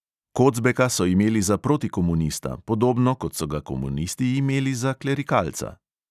Kocbeka so imeli za protikomunista, podobno kot so ga komunisti imeli za klerikalca.